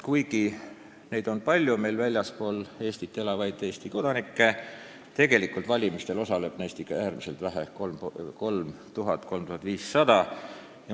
Kuigi on palju väljaspool Eestit elavaid Eesti kodanikke, siis valimistel osaleb neist ikka äärmiselt väike osa, 3000–3500 inimest.